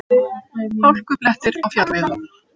Hálkublettir á fjallvegum